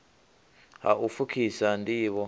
ha u pfukhisa nd ivho